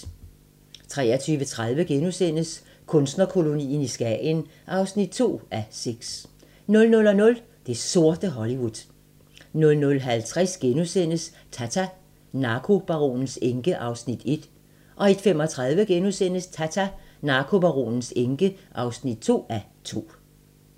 23:30: Kunstnerkolonien i Skagen (2:6)* 00:00: Det sorte Hollywood 00:50: Tata: Narkobaronens enke (1:2)* 01:35: Tata: Narkobaronens enke (2:2)*